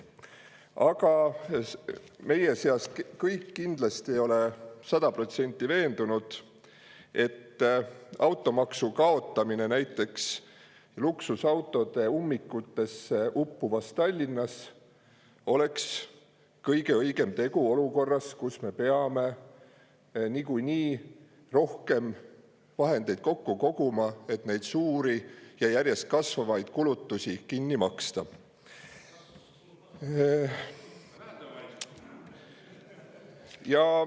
Aga meie seast kõik kindlasti ei ole sada protsenti veendunud, et automaksu kaotamine näiteks luksusautode ummikutesse uppuvas Tallinnas oleks kõige õigem tegu olukorras, kus me peame niikuinii rohkem vahendeid kokku koguma, et suuri ja järjest kasvavaid kulutusi kinni maksta.